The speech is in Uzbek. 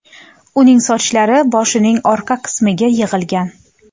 Uning sochlari boshining orqa qismiga yig‘ilgan.